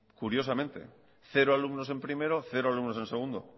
curiosamente cero alumnos en primero cero alumnos en segundo